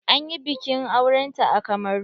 An yi biƙin auren ta a Kamaru.